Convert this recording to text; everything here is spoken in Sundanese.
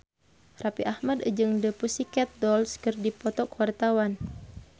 Raffi Ahmad jeung The Pussycat Dolls keur dipoto ku wartawan